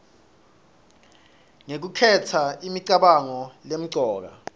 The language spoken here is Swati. ngekukhetsa imicabango lemcoka